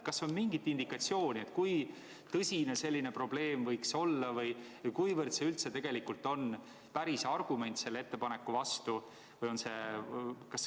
Kas on mingit indikatsiooni, kui tõsine selline probleem võiks olla või kuivõrd see üldse on päris argument selle ettepaneku vastu?